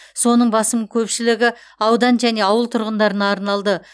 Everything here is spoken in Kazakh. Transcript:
соның басым көпшілігі аудан және ауыл тұрғындарына арналды